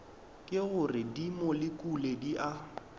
ke gore dimolekule di a